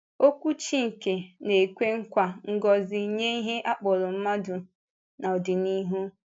Okwu Chínkè na-ekwe nkwa ngọzi nye ihe a kpọrọ mmadụ n’ọdịnihu.